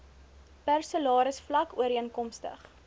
per salarisvlak ooreenkomstig